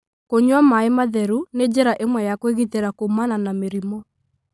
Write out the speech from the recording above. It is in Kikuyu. Kũnyua maĩ matheru nĩ njĩra ĩmwe ya kwĩgitĩra kuumana na mĩrimũ.